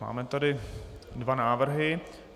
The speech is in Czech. Máme tady dva návrhy.